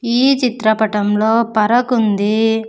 ఈ చిత్రపటంలో పరకు ఉంది.